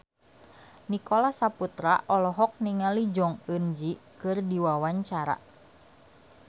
Nicholas Saputra olohok ningali Jong Eun Ji keur diwawancara